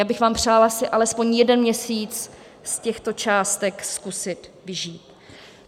Já bych vám přála si alespoň jeden měsíc z těchto částek zkusit vyžít.